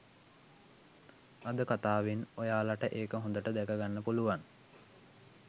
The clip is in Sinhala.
අද කතාවෙන් ඔයාලට ඒක හොදට දැක ගන්න පුළුවන්